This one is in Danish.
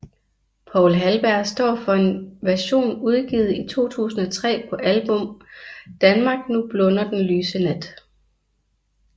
Poul Halberg står for en version udgivet i 2003 på album Danmark nu blunder den lyse nat